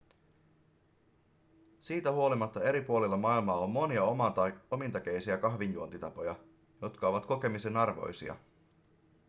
siitä huolimatta eri puolilla maailmaa on monia omintakeisia kahvinjuontitapoja jotka ovat kokemisen arvoisia